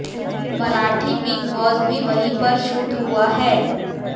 Marathi Bigg Boss भी वहीं पर शूट हुआ है